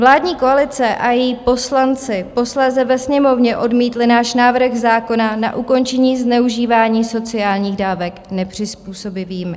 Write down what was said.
Vládní koalice a její poslanci posléze ve Sněmovně odmítli náš návrh zákona na ukončení zneužívání sociálních dávek nepřizpůsobivými.